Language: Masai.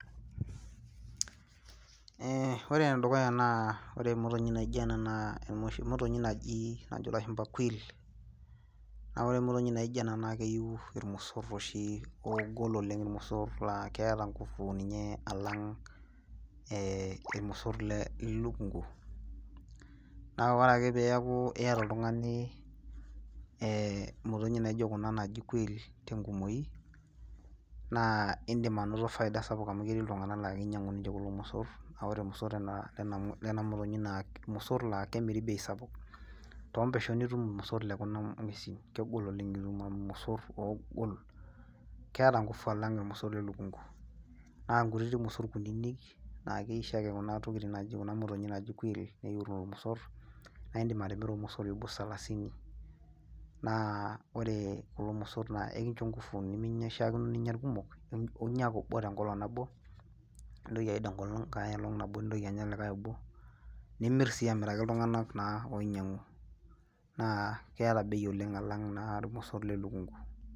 Ee ore ene dukuya naa ore emotinyi naijo ena naa enoshi motonyi naji najo lashumpa quell naa ore emotinyi naijo ena naa keyieu oshi ilmosor oshi oogol oleng, ilmosor laa keeta ngufu alang' ilmosor le lukunku, naa ore ake peeku iyata oltungani, ee motonyi naijo Kuna aaji quell tenkumoi, naa idim anoto faida sapuk amu ketii iltunganak laa kinyiang'u ninche kulo mosor, naa ore ilmosor naa lena motonyi naa ilmosor laa kemiri bei sap